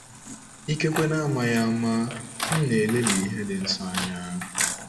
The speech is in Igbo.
Ikekwe n'amaghị ama, m̀ na-elelị ihe dị nsọ anya?